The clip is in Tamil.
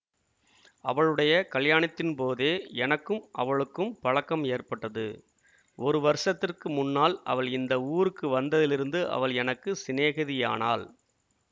அவளுடைய கலியாணத்தின் போதே எனக்கும் அவளுக்கும் பழக்கம் ஏற்பட்டது ஒரு வருஷத்திற்கு முன்னால் அவள் இந்த ஊருக்கு வந்ததிலிருந்து அவள் எனக்கு சிநேகிதியானாள்